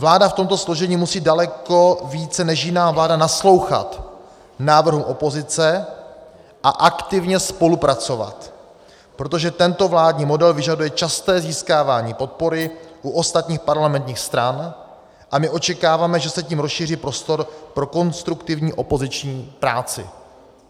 Vláda v tomto složení musí daleko více než jiná vláda naslouchat návrhům opozice a aktivně spolupracovat, protože tento vládní model vyžaduje časté získávání podpory u ostatních parlamentních stran, a my očekáváme, že se tím rozšíří prostor pro konstruktivní opoziční práci.